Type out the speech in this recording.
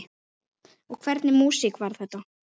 Og hvernig músík var þetta?